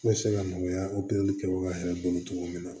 Ne bɛ se ka nɔgɔya opereli kɛbaga yɛrɛ bolo cogo min na